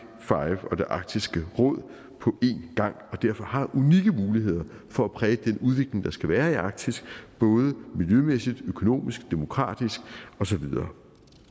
arktisk råd på en gang og derfor har unikke muligheder for at præge den udvikling der skal være i arktis både miljømæssigt økonomisk demokratisk og så videre